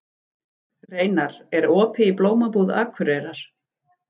Reynar, er opið í Blómabúð Akureyrar?